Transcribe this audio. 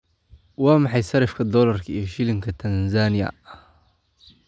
Waa maxay sarifka dollarka iyo shilinka Tanzania?